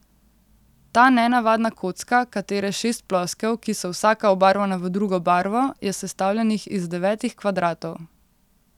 Ta nenavadna kocka, katere šest ploskev, ki so vsaka obarvana v drugo barvo, je sestavljenih iz devetih kvadratov.